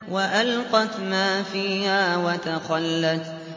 وَأَلْقَتْ مَا فِيهَا وَتَخَلَّتْ